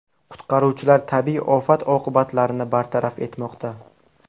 Qutqaruvchilar tabiiy ofat oqibatlarini bartaraf etmoqda.